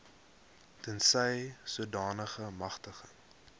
tensy sodanige magtiging